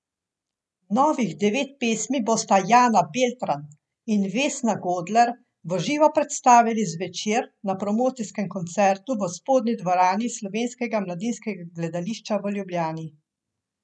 Novih devet pesmi bosta Jana Beltran in Vesna Godler v živo predstavili zvečer na promocijskem koncertu v spodnji dvorani Slovenskega mladinskega gledališča v Ljubljani.